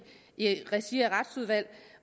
regi af retsudvalget